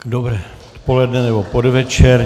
Dobré odpoledne, nebo podvečer.